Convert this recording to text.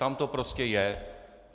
Tam to prostě je.